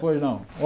Pois não